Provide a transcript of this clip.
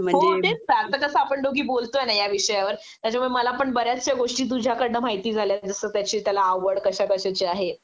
हो तेच ना आता कसा आपण दोघी बोलतोय ना या विषयावर त्याच्यामुळे मला पण बऱ्याचश्या गोष्टी तुझ्याकडन माहिती झाल्यात जस त्याची त्याला आवड कशाकशाची आहे